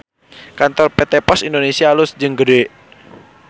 Kantor PT POS Indonesia alus jeung gede